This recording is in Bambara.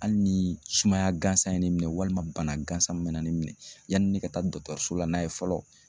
Hali ni sumaya gansan ye ne minɛ walima bana gansan min bɛ na ne minɛ yanni ne ka taa dɔtɔrsola n'a ye fɔlɔ